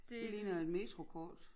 Det ligner et metrokort